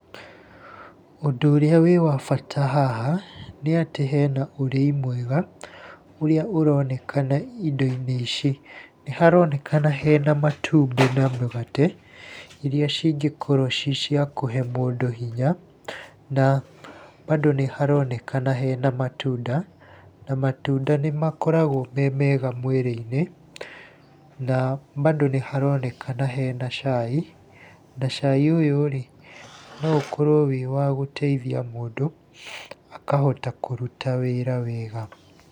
Ũndũ ũrĩa wĩ wa bata haha, nĩ atĩ hena ũrĩi mwega, ũrĩa ũronekana indo-inĩ ici. Nĩ haronekana hena matumbĩ na mũgate, irĩa cingĩkorwo ci cia kũhe mũndũ hinya na bado nĩ haronekana hena matunda, na matunda nĩ makoragwo me mega mwĩrĩ-inĩ. Na bado nĩ haronekana hena cai na cai ũyũ rĩ, no ũkorwo wĩ wa gũteithia mũndũ, akahota kũruta wĩra wega.